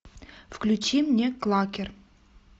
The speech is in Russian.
включи мне клакер